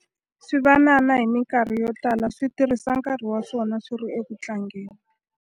Swivanana hi mikarhi yo tala swi tirhisa nkarhi wa swona swi ri eku tlangeni.